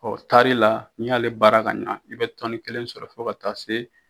Ɔ taari la n'i ya ale baara ka ɲɛ i bɛ tɔni kelen sɔrɔ fo ka taa se